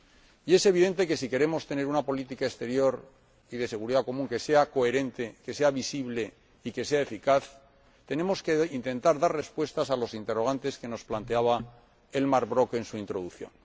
Y es evidente que si queremos tener una política exterior y de seguridad común que sea coherente, que sea visible y que sea eficaz, tenemos que intentar dar respuestas a los interrogantes que nos planteaba Elmar Brok en su introducción.